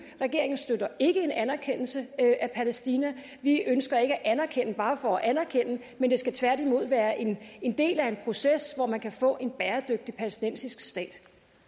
regeringen støtter ikke en anerkendelse af palæstina vi ønsker ikke at anerkende bare for at anerkende men det skal tværtimod være en del af en proces hvor man kan få en bæredygtig palæstinensisk stat